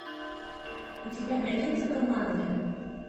у тебя найдется коммандо